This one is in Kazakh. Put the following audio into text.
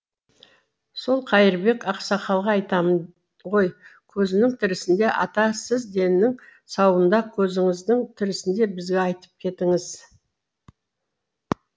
сол қайырбек ақсақалға айтамын ғой көзінің тірісінде ата сіз деннің сауында көзіңіздің тірісінде бізге айтып кетіңіз